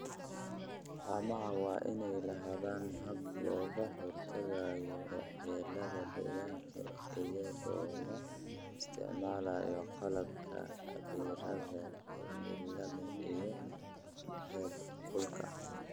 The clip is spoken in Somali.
Haamaha waa inay lahaadaan habab looga hortagayo waxyeelada deegaanka iyadoo la isticmaalayo qalabka cabbiraadda cimilada iyo heerkulka.